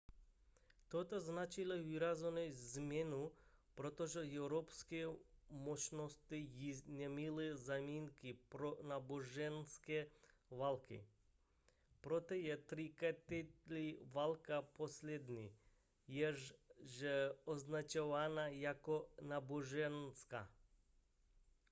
toto značilo výraznou změnu protože evropské mocnosti již neměly záminky pro náboženské války proto je třicetiletá válka poslední jež je označovaná jako náboženská